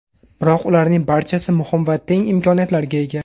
Biroq ularning barchasi muhim va teng imkoniyatlarga ega.